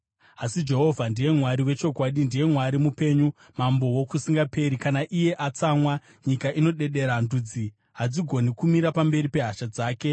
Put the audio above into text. Asi Jehovha ndiye Mwari wechokwadi; ndiye Mwari mupenyu, mambo wokusingaperi. Kana iye atsamwa, nyika inodedera; ndudzi hadzigoni kumira pamberi pehasha dzake.